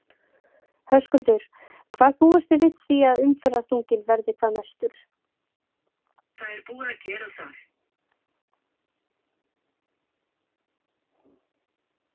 Höskuldur: Hvar búist þið við því að umferðarþunginn verði hvað mestur?